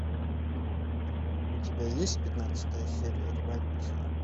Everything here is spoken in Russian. у тебя есть пятнадцатая серия революция